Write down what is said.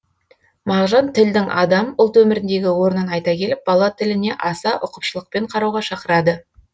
мағжан тілдің адам ұлт өміріндегі орнын айта келіп бала тіліне аса ұқыпшылықпен қарауға шақырады